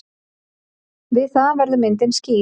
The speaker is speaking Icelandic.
Við það verður myndin skýr.